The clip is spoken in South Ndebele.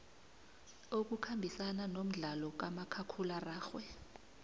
okukhambisana nomdlalo kamakhakhulararhwe